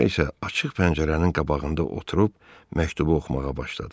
Sonra isə açıq pəncərənin qabağında oturub məktubu oxumağa başladı.